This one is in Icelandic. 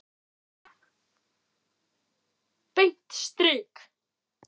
Beint strik!